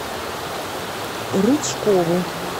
рычкову